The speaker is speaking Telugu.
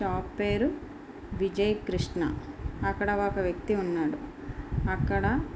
షాప్ పేరు విజయ్ కృష్ణ. అక్కడ ఒక వ్యక్తి ఉన్నాడు. అక్కడ --